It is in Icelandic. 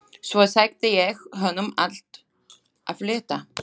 Svo sagði ég honum allt af létta.